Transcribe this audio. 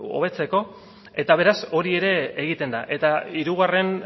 hobetzeko eta beraz hori ere egiten da eta hirugarren